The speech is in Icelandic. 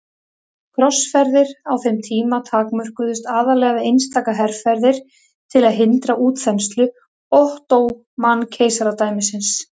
Krossferðir á þeim tíma takmörkuðust aðallega við einstaka herferðir til að hindra útþenslu Ottóman-keisaradæmisins.